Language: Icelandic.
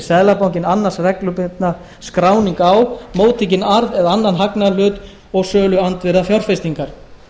seðlabankinn annast reglubundna skráningu á móttekinn arð eða annan hagnaðarhlut og söluandvirði fjárfestingar